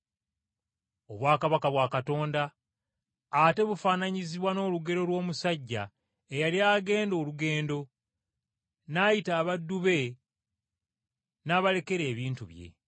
“Obwakabaka bwa Katonda, ate bufaananyizibwa n’olugero lw’omusajja eyali agenda olugendo, n’ayita abaddu be n’abalekera ebintu bye.